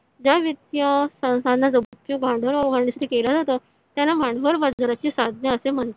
ज्या वित्तीय संस्थांना भांडवल केला जातो त्यांना भांडवल बाजाराची साधने असे म्हणतात